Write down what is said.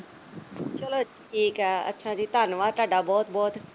ਚੱਲੋ ਠੀਕ ਐ ਅੱਛਾ ਜੀ ਧੰਨਵਾਦ ਤੁਹਾਡਾ ਜੀ ਬਹੁਤ ਬਹੁਤ।